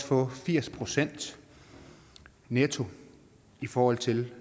få firs procent netto i forhold til